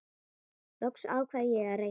Loks ákvað ég að reyna.